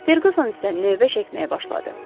Ferquson isə növbə çəkməyə başladı.